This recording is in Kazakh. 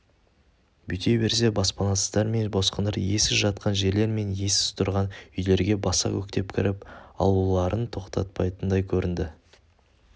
бүйте берсе баспанасыздар мен босқындар иесіз жатқан жерлер мен иесіз тұрған үйлерге баса көктеп кіріп алуларын тоқтатпайтындай көрінді